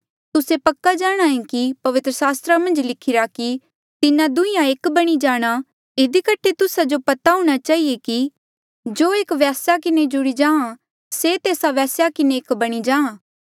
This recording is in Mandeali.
तुस्से पक्का जाणांहे कि पवित्र सास्त्रा मन्झ लिखिरा कि तिन्हा दुहींया एक बणी जाणा इधी कठे तुस्सा जो पता हूंणा चहिए कि जो एक वेस्या किन्हें जुड़ी जाहाँ से तेस्सा वेस्या किन्हें एक बणी जाहाँ